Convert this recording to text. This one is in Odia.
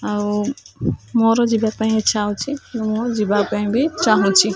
ଆଉ ମୋର ଯିବା ପାଇଁ ଇଛା ହଉଚି। ମୁଁ ଯିବା ପାଇଁ ବି ଚାହୁଁଚି।